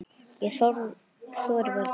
Ég þori varla.